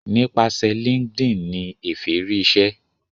nípasẹ linkedin ní Efe rí ìṣe